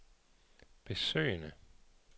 besøgende